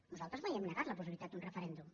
nosaltres mai hem negat la possibilitat d’un referèndum